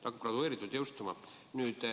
See on gradatsiooniline jõustumine.